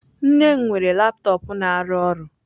Nne m weere laptop na-arụ ọrụ.